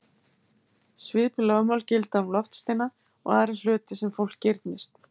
Svipuð lögmál gilda um loftsteina og aðra hluti sem fólk girnist.